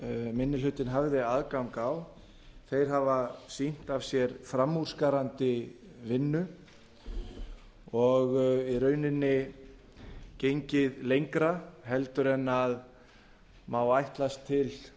minni hlutinn hafði aðgang að þeir hafa sýnt af sér framúrskarandi vinnu og í rauninni gengið lengra en má ætlast til